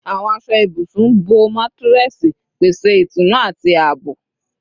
Awọn aṣọ ibusun bo matiresi, pese itunu ati aabo